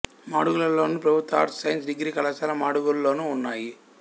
మాడుగులలోను ప్రభుత్వ arts science degree కళాశాల మాడుగులలోనూ ఉన్నాయి